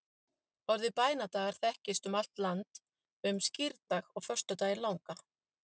orðið bænadagar þekkist um allt land um skírdag og föstudaginn langa